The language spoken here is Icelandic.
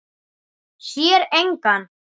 Sér engan.